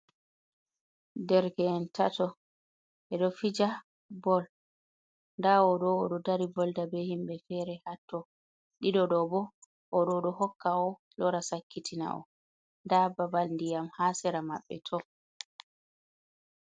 Ɗereke'en tato ɓedo fija bol, nda o ɗo o do dari volda ɓe himbe fere hato, ɗiɗo bo, oɗo ɗo hokka o lora sakkitina o, nda babal diyam ha sera mabbe to.